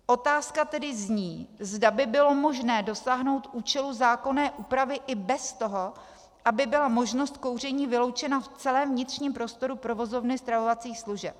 Otázka tedy zní, zda by bylo možné dosáhnout účelu zákonné úpravy i bez toho, aby byla možnost kouření vyloučena v celém vnitřním prostoru provozovny stravovacích služeb.